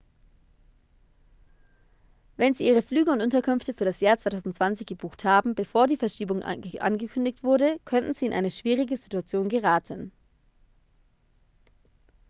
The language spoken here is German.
wenn sie ihre flüge und unterkünfte für das jahr 2020 gebucht haben bevor die verschiebung angekündigt wurde könnten sie in eine schwierige situation geraten